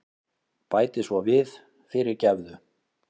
Bæti svo við, fyrirgefðu.